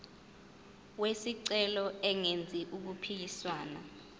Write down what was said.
wesicelo engenzi okuphikisana